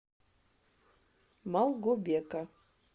малгобека